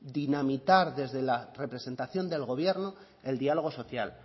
dinamitar desde la representación del gobierno el diálogo social